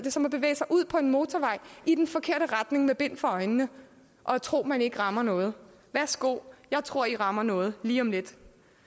er som at bevæge sig ud på en motorvej i den forkerte retning med bind for øjnene og tro at man ikke rammer noget værsgo jeg tror i rammer noget lige om lidt